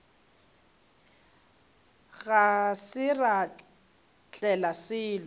ga se ra tlela selo